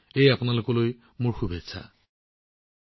এয়া আপোনালোক সকলোলৈ মোৰ শুভকামনা থাকিল